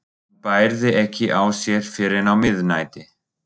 Hann bærði ekki á sér fyrr en á miðnætti.